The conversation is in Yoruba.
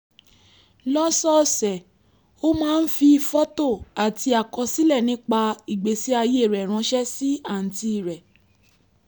lọ́sọ̀ọ̀sẹ̀ ó máa ń fi fọ́tò àti àkọsílẹ̀ nípa ìgbésí ayé rẹ̀ ránṣẹ́ sí àǹtí rẹ̀